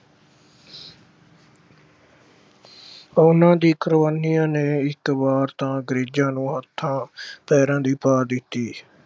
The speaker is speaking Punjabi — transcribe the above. ਉਹਨਾਂ ਦੀਆਂ ਕੁਰਬਾਨੀਆਂ ਨੇ ਇੱਕ ਵਾਰ ਤਾਂ ਅੰਗਰੇਜ਼ਾਂ ਨੂੰ ਹੱਥਾਂ ਅਹ ਪੈਰਾਂ ਦੀ ਪਾ ਦਿੱਤੀ।